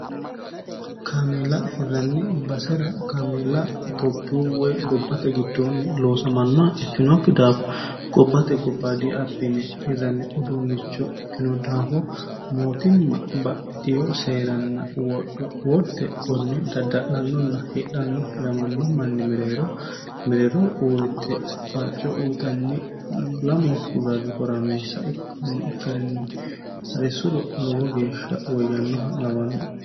kaameelaa hirranni basera kaameeela itophiyu woy gobbate giddoonni loosamannoh ikkinookki daafo gobbate gobba diapine hirranni uduunnicho ikkino daafo mootimma ba'itiho seeranni worte konne dadda'lannonna hedhanno hiramanno manni mereero mereero uurritte farco uyitanni lamonku ragi horameessa ikkanno ikkarinni resuro lowo geeshsha woyyannoha lawanno